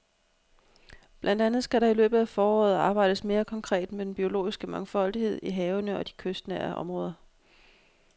Blandt andet skal der i løbet af foråret arbejdes mere konkret med den biologiske mangfoldighed i havene og i de kystnære områder.